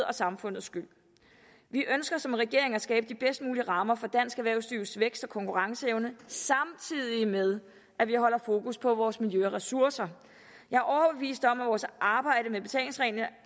og samfundets skyld vi ønsker som regering at skabe de bedst mulige rammer for dansk erhvervslivs vækst og konkurrenceevne samtidig med at vi holder fokus på vores miljø og ressourcer jeg er overbevist om at vores arbejde med betalingsreglerne